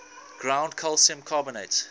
ground calcium carbonate